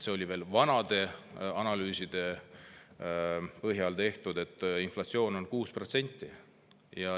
Veel vanade analüüside põhjal tehtud on inflatsioon 6%.